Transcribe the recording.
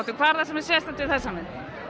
hvað er sérstakt við þessa mynd